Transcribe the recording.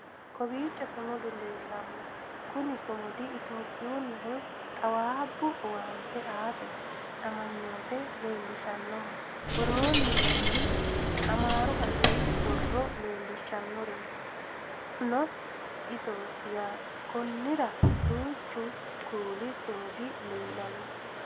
kowiicho sumudu leellanno kuni sumudino etiyoopiyunnihu xaawaabbu owaante aate amanyooote leellishannoho woroonni nooti amaaru afiii borro leellishshannorino isooti yaate konnira duuchu kuli sumudi leellannoe